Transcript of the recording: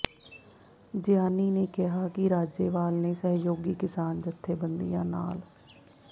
ਜਿਆਣੀ ਨੇ ਕਿਹਾ ਕਿ ਰਾਜੇਵਾਲ ਨੇ ਸਹਿਯੋਗੀ ਕਿਸਾਨ ਜਥੇਬੰਦੀਆਂ ਨਾਲ